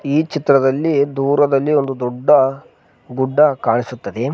ಈ ಚಿತ್ರದಲ್ಲಿ ದೂರದಲ್ಲಿ ಒಂದು ದೊಡ್ಡ ಗುಡ್ಡ ಕಾಣಿಸುತ್ತದೆ.